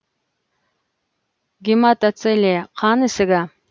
гематоцеле қан ісігі